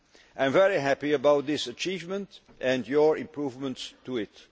I am very happy about this achievement and your improvements to